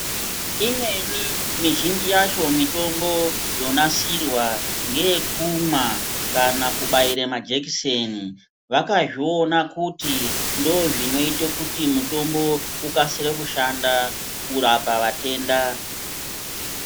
Imweni mizhinji yacho mitombo yonasirwa ngeyekumwa kana kubaire majekiseni. Vakazviona kuti ndozvinoite kuti mutombo ukasire kushanda kurapa vetenda.